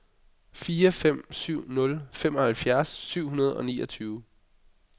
fire fem syv nul femoghalvfjerds syv hundrede og niogtyve